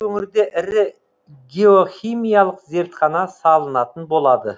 өңірде ірі геохимиялық зертхана салынатын болады